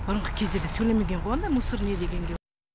бұрынғы кездерде төлемеген ғой анда мусор не дегенге